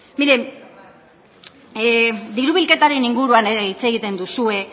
mire diru bilketaren inguruan ere hitz egiten duzue